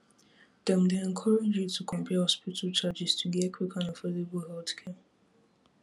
dem dey encourage you to compare hospital charges to get quick and affordable healthcare